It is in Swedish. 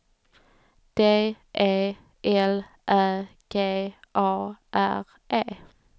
D E L Ä G A R E